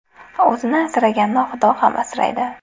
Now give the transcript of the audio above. O‘zini asraganni Xudo ham asraydi.